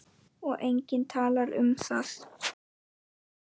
Og enginn talar um það!